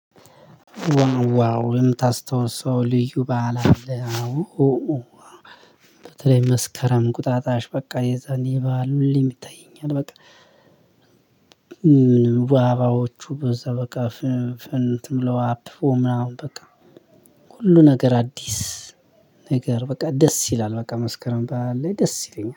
ዋው ዋው የምታስተውሰው ልዩ በዓል አለ። በተለይ መስከረም ቁጣጣሽ በቃ የዛኔ የበአል ሁሌም ይታየኛል። በቃ አበባዎቹ በዛ በቃ ፍንት ብለው አብበው። ምናምን በቃ ሁሉ ነገር አዲስ ነገር በቃ ደስ ይላል። በቃ መስከረም በዓል ላይ ደስ ይለኛል